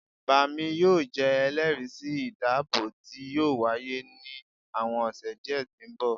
baami yoo jẹ ẹlẹri si idabo ti yoo waye ni awọn ọsẹ diẹ ti nbọ